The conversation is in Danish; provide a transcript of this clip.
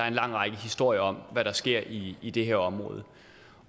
en lang række historier om hvad der sker i i det her område